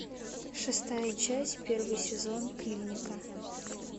шестая часть первый сезон клиника